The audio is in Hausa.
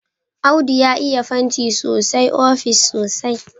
Audu ya iya fanti sosai ofis sosai.